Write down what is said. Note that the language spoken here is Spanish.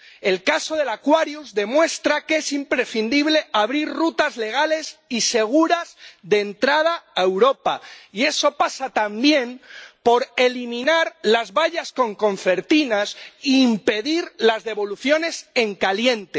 El caso del Aquarius demuestra que es imprescindible abrir rutas legales y seguras de entrada a Europa, y eso pasa también por eliminar las vallas con concertinas e impedir las devoluciones en caliente.